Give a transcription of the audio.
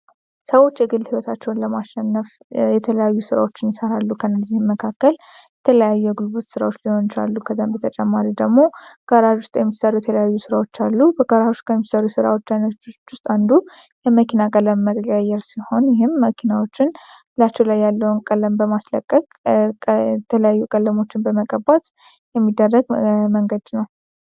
ሰዎች የግል ህይወታቸውን ለማሸነፍ የተለያዩ ሥራዎችን ይሠራሉ ከና ጊዚህ መካከል ተለዩ የጉልበት ሥራዎች ሊሆንቻሉ ከዘንብ የተጨማሪ ደግሞ ከራዥ ውስጥ ኤምሳሩ የተለዩ ስራዎች አሉ በከራሽ ከኤሚሰሩ የስራዎች ጃይነች ውስጥ አንዱ የመኪና ቀለም መየር ሲሆን ይህም መኪናዎችን ላችው ላይ ያለውን ቀለም በማስለቀቅ ተለዩ ቀለሞችን በመቀባት የሚደረግ መንገድ ነው፡፡